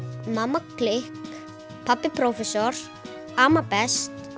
mamma klikk pabbi prófessor amma best